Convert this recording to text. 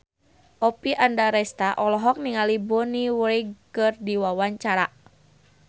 Oppie Andaresta olohok ningali Bonnie Wright keur diwawancara